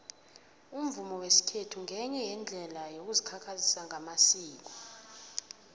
umvumo wesikhethu ngenye yeendlela yokuzikhakhazisa ngamasiko